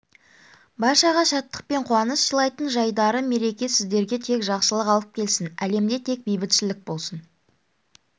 баршаға шаттық пен қуаныш сыйлайтын жайдары мереке сіздерге тек жақсылық алып келсін әлемде тек бейбітшілік болсын